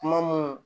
Kuma mun